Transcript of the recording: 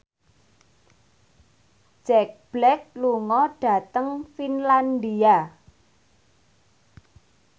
Jack Black lunga dhateng Finlandia